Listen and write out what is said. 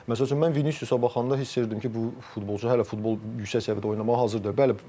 Məsəl üçün mən Vinisiusa baxanda hiss edirdim ki, bu futbolçu hələ futbol yüksək səviyyədə oynamağa hazır deyil.